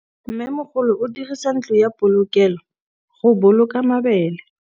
Mmêmogolô o dirisa ntlo ya polokêlô, go boloka mabele.